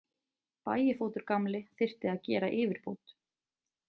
Bægifótur gamli þyrfti að gera yfirbót.